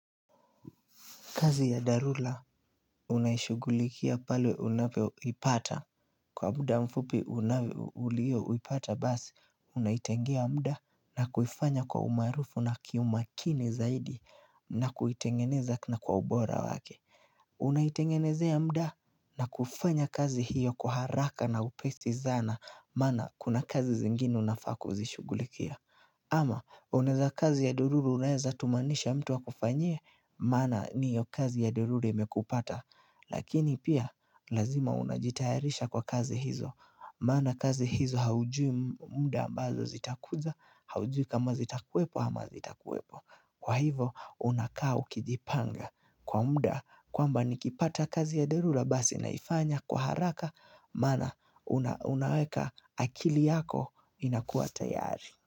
Kazi ya dharura unaishugulikia pale unavyoipata. Kwa muda mfupi unavyo ulioipata basi, unaitengia muda na kuifanya kwa umaarufu na kiumakini zaidi na kuitengeneza na kwa ubora wake. Unaitengenezea muda na kufanya kazi hiyo kwa haraka na upesi sana, maana kuna kazi zingine unafaa ku lzishugulikia. Ama unaeza kazi ya dharura unaeza tumanisha mtu akufanyie, maana ni hio kazi ya dharura imekupata. Lakini pia, lazima unajitayarisha kwa kazi hizo. Maana kazi hizo haujui muda ambazo zitakuja, haujui kama zitakuwepo ama hazitakuepo. Kwa hivo, unakaa ukijipanga. Kwa muda, kwamba nikipata kazi ya dharura, basi naifanya kwa haraka, maana unaweka akili yako inakuwa tayari.